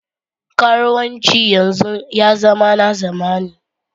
Karuwanci yanzu ya zama na zamani.